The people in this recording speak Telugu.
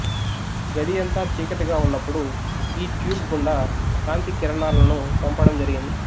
గది అంతా చీకటిగా ఉన్నప్పుడు యీ ట్యూబ్ గుండా కాంతి కిరణాలను పంపడం జరిగింది